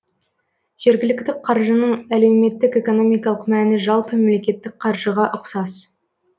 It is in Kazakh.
жергілікті қаржының әлеуметтік экономикалық мәні жалпы мемлекеттік қаржыға ұксас